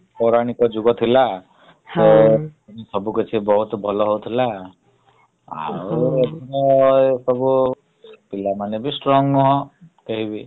ପୌରଣିକ ଯୁଗ ଥିଲା ସବୁ କିଛି ବହୁତ୍ ଭଲ ହଉଥିଲା । ଆଉ ପିଲାମାନେବି strong ନୁହଁ କେହିବି ।